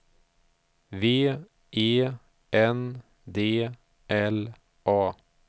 V E N D L A